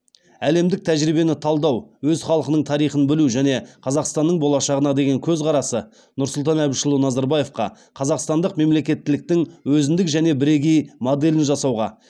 әлемдік тәжірибені талдау өз халқының тарихын білу және қазақстанның болашағына деген көзқарасы нұрсұлтан әбішұлы назарбаевқа қазақстандық мемлекеттіліктің өзіндік және бірегей моделін жасауға